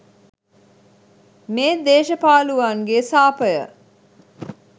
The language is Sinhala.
මේ දේශ පාලුවන්ගේ සාපය.